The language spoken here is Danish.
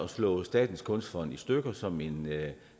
slå statens kunstfond i stykker som en